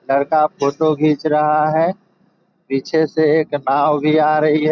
लड़का फोटो खीच रहा है। पीछे से एक नाव भी आ रही है।